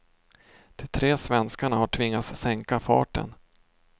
De tre svenskarna har tvingats sänka farten.